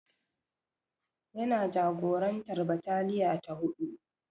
Yana jagorantar bataliya ta huɗu.